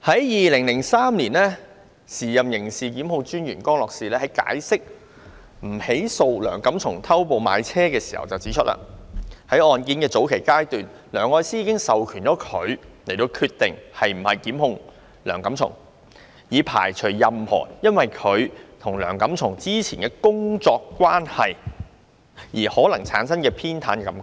2003年，時任刑事檢控專員江樂士就不起訴梁錦松偷步買車時指出，在案件的早期階段，梁愛詩已授權他決定是否檢控梁錦松，以排除任何因她與梁錦松之前的工作關係而可能產生的偏袒感覺。